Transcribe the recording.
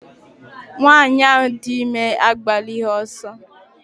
Nwanyị ahụ dị ime agbalighi ọsọ